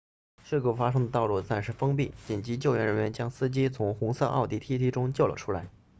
事故发生的道路暂时封闭紧急救援人员将司机从红色奥迪 tt 中救了出来